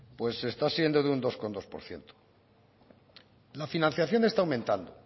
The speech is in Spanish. pues está siendo de un dos coma dos por ciento la financiación está aumentando